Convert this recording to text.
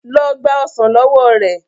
lọ gba ọsán ló wọ rẹ.